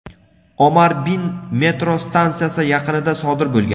Omar bin metro stansiyasi yaqinida sodir bo‘lgan.